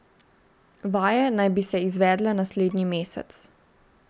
Vaje naj bi se izvedle naslednji mesec.